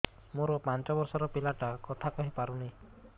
ମୋର ପାଞ୍ଚ ଵର୍ଷ ର ପିଲା ଟା କଥା କହି ପାରୁନି